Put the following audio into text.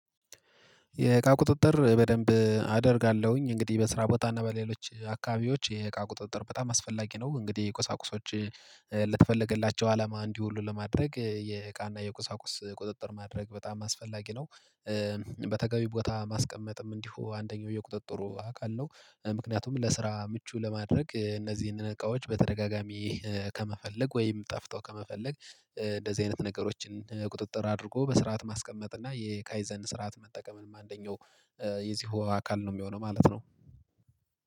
የእቃ ቁጥጥር በደንብ አደርጋለሁኝ እንግዲህ በስራ ቦታ እና በሌሎች አካባቢዎች የእቃ ቁጥጥር በጣም አስፈላጊ ነው። እንግዲህ የቁሳቁሶች ለተፈለገላቸው አላማ እንዲወሉ ለማድረግ የእቃና የቁሳቁስ ቁጥጥር ማድረግ በጣም አስፈላጊ ነው። በተገቢ ቦታ ማስቀመጥም እንዲሁ አንደኛው የቁጥጥሩ አካል ነው። ምክንያቱም ለስራ ምቹ ለማድረግ እነዚህን እቃዎች በተደጋጋሚ ከመፈለግ ወይም ጠፍተው ከመፈለግ እንደዚህ አይነት ነገሮችን ቁጥጥር አድርጎ በስርዓት ማስቀመጥ እና የካይዘን ስርዓት መጠቀምም አንደኛው የዚሁ አካል ነው የሚሆነው ማለት ነው።